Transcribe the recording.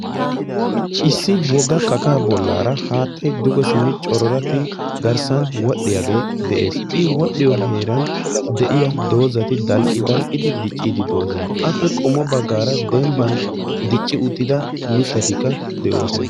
Issi wogga kakaa bollaara haattayi duge simmi cororattidi garssan wodhdhiyagee de"es. I wodhdhiyo heeran de'iya doozati dalqqi dalqqidi dicciiddi doosona. Appe qommo baggaara dembban dicci uttida mittatikka de'oosona.